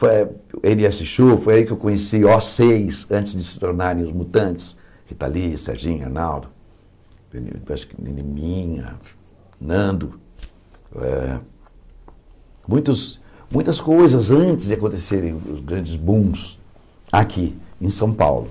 foi êne ésse chu foi aí que eu conheci ó seis, antes de se tornarem os Mutantes, Ritali, Serginho, Arnaldo, acho que Neninha, Nando, eh muitos muitas coisas antes de acontecerem os grandes booms, aqui em São Paulo.